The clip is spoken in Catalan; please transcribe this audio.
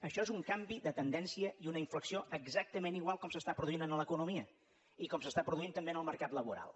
això és un canvi de tendència i una inflexió exactament igual com s’està produint a l’economia i com s’està produint també en el mercat laboral